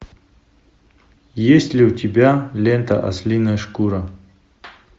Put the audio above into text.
есть ли у тебя лента ослиная шкура